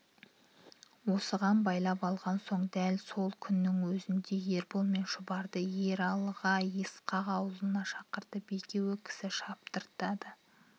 осыған байлап алған соң дәл сол күннің өзінде ербол мен шұбарды ералыға ысқақ аулына шақыртып екеуі кісі шаптырды